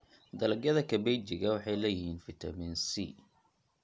Dalagyada kabejiga waxay leeyihiin fiitamiin C.